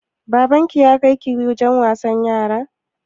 Baban ki ya kai ki wajen wasan yara?